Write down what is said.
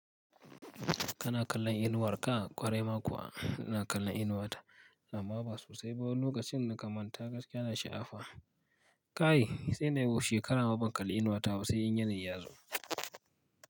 Kana kallon inuwar ka, ƙwarai ma kuwa ina kallon inuwata, amma ba sosai ba. Lokacin na kan manta gaskiya na sha'afa, kai, sai nai shekara ma ban kalli inuwata ba sai in yanayi yazo.